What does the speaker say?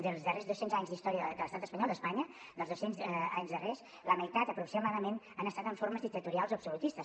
dels darrers dos cents anys d’història de l’estat espanyol d’espanya dels dos cents anys darrers la meitat aproximadament han estat amb formes dictatorials o absolutistes